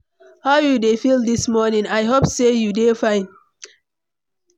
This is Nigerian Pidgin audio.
How you dey feel dis morning? I hope sey you dey fine.